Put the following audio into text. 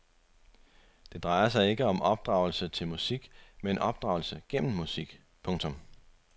Det drejer sig ikke om opdragelse til musik men opdragelse gennem musik. punktum